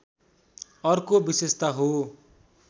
अर्को विशेषता हो